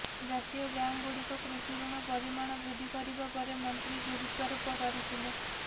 ଜାତୀୟ ବ୍ୟାଙ୍କଗୁଡ଼ିକ କୃଷି ୠଣ ପରିମାଣ ବୃଦ୍ଧି କରିବା ପରେ ମନ୍ତ୍ରୀ ଗୁରୁତ୍ୱାରୋପ କରିଥିଲେ